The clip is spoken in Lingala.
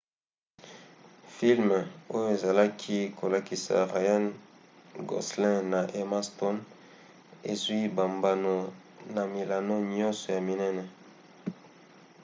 filme oyo ezalaki kolakisa ryan gosling na emma stone ezwi bambano na milongo nyonso ya minene